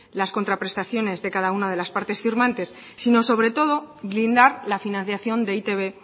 las contraprestaciones de cada una de las partes firmantes sino sobre todo blindar la financiación de e i te be